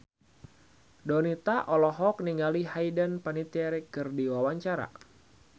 Donita olohok ningali Hayden Panettiere keur diwawancara